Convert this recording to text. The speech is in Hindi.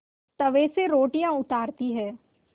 तवे से रोटियाँ उतारती हैं